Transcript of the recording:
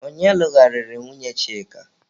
Ọnye lụgharịrị nwunye Chika?